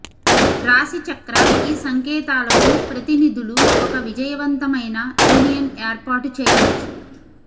రాశిచక్ర ఈ సంకేతాలను ప్రతినిధులు ఒక విజయవంతమైన యూనియన్ ఏర్పాటు చేయవచ్చు